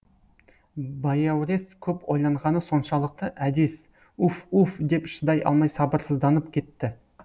баяурес көп ойланғаны соншалықты әдес уф уф деп шыдай алмай сабырсызданып кетті